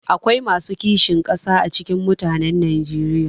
Akwai masu kishin ƙasa a cikin mutanen najeriya